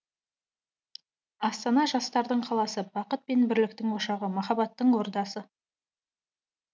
астана жастардың қаласы бақыт пен бірліктің ошағы махаббаттың ордасы